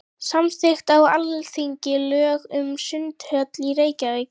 Samþykkt á Alþingi lög um sundhöll í Reykjavík.